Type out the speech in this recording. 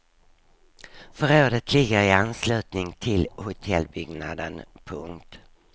Förrådet ligger i anslutning till hotellbyggnaden. punkt